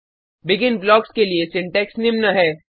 begin blocks के लिए syntax निम्न है